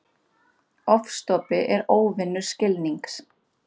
Ofstopi er óvinur skilnings.